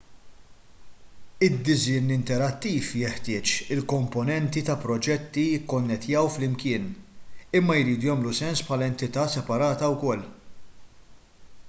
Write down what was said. id-disinn interattiv jeħtieġ li l-komponenti ta' proġett jikkonnettjaw flimkien imma jridu jagħmlu sens bħala entità separata wkoll